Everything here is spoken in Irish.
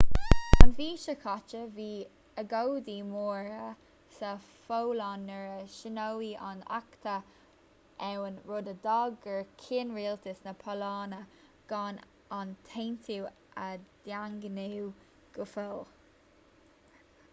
an mhí seo caite bhí agóidí móra sa pholainn nuair a shíníodh an acta ann rud a d'fhág gur chinn rialtas na polainne gan an t-aontú a dhaingniú go fóill